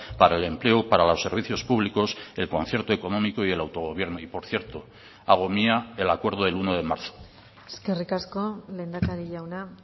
para el empleo para los servicios públicos el concierto económico y el autogobierno y por cierto hago mía el acuerdo del uno de marzo eskerrik asko lehendakari jauna